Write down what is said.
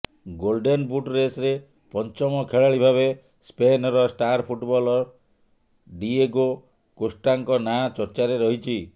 golden boot ରେସରେ ପଞ୍ଚମ ଖେଳାଳିଭାବେ ସ୍ପେନର ଷ୍ଟାର ଫୁଟବଲର ଡିଏଗୋ କୋଷ୍ଟାଙ୍କ ନାଁ ଚର୍ଚ୍ଚାରେ ରହିଛି